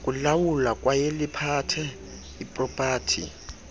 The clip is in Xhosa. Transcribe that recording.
kulawula kwayeliphathe ipropathi